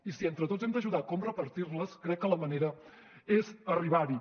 i si entre tots hem d’ajudar a com repartir les crec que la manera és arribar hi